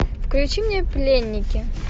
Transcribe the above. включи мне пленники